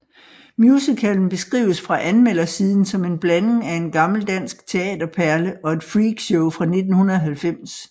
Musicalen beskrives fra anmeldersiden som en blanding af en gammel dansk teaterperle og et freak show fra 1990